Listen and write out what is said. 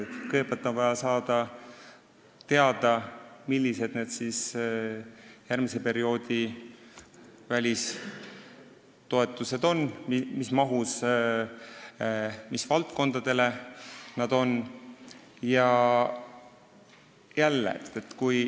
Kõigepealt on vaja teada saada, millised on need järgmise perioodi välistoetused, mis mahus ja mis valdkondadele need on mõeldud.